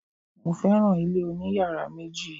Mo féràn ilé oní yàrá méjì.